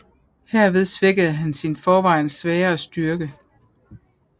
Herved svækkede han sin i forvejen svagere styrke